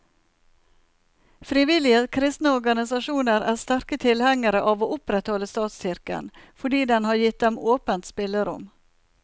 Frivillige kristne organisasjoner er sterke tilhengere av å opprettholde statskirken, fordi den har gitt dem åpent spillerom.